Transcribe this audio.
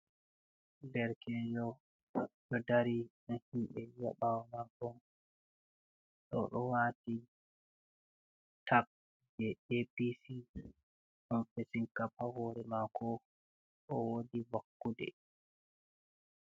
"Derkejo do dari nɗa himɓe ha bawo mako oɗo wati tak je apc ɗon fesin kap ha hore mako o wodi vakkude.